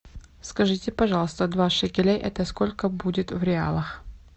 скажите пожалуйста два шекеля это сколько будет в реалах